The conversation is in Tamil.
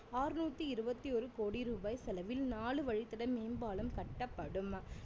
ஆறுநூத்தி இருவத்தி ஒரு கோடி ரூபாய் செலவில் நாலு வழித்தட மேம்பாலம் கட்டப்படும்